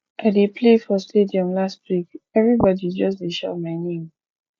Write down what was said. i dey play for stadium last week everbodi just dey shout my name